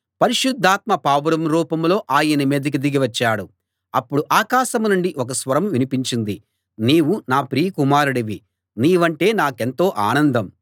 పరిశుద్ధాత్మ పావురం రూపంలో ఆయన మీదికి దిగి వచ్చాడు అప్పుడు ఆకాశం నుండి ఒక స్వరం వినిపించింది నీవు నా ప్రియ కుమారుడివి నీవంటే నాకెంతో ఆనందం